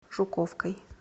жуковкой